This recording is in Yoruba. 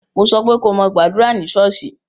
Mo sọ pé ko mo gbàdúrà ní ṣọ́ọ́ṣì!